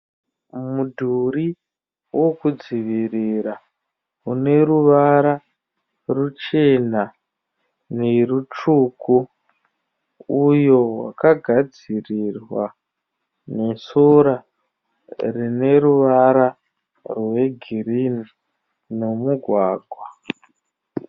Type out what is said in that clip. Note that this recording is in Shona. Mudhuri wokudzivirira une ruvara ruchena nerutsvuku. Uyo wakagadzirirwa nesora rine ruvara rwegirini nomugwagwa.